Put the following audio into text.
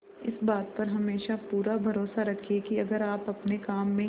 इस बात पर हमेशा पूरा भरोसा रखिये की अगर आप अपने काम में